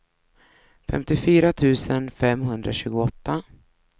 femtiofyra tusen femhundratjugoåtta